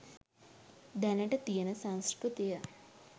දැනට තියෙන සංස්කෘතිය